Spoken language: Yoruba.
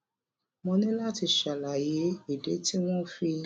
mo ní láti ṣàlàyé ìdí tí wón fi